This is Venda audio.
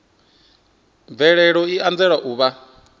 mvelelo i anzela u vha